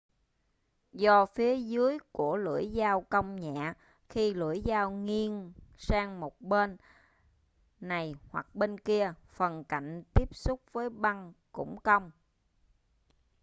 do phía dưới của lưỡi dao cong nhẹ khi lưỡi dao nghiêng sang một bên này hoặc bên kia phần cạnh tiếp xúc với băng cũng cong